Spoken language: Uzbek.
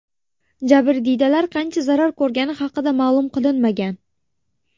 Jabrdiydalar qancha zarar ko‘rgani haqida ma’lum qilinmagan.